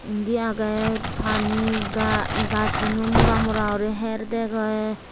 indi aagay pani gaj suno mora mora gori harey degey.